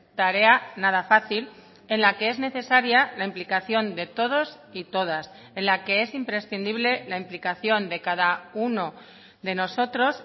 tarea nada fácil en la que es necesaria la implicación de todos y todas en la que es imprescindible la implicación de cada uno de nosotros